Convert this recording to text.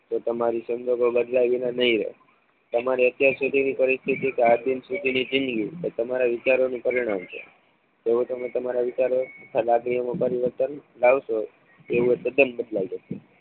તો તમારી સંજોગો બદલાય ગયા નહીં રે તમારી અત્યારે સુધીની પરિસ્થિતિ કે આજ દીન સુધીની જીદગી તમારા વિચારોને પરિણામ છે. જેવો તમે તમારા વિચારો તથા લાગણીઓના પરિવર્તન લાવશો એવું આ તદ્દન બદલાય જશે